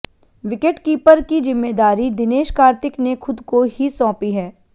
wicketkeeper की जिम्मेदारी दिनेश कार्तिक ने खुद को ही सौंपी है